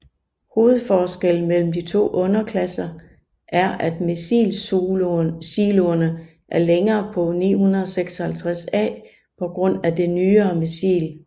Hovedforskellen mellem de to underklasser er at missilsiloerne er længere på 956A på grund af det nyere missil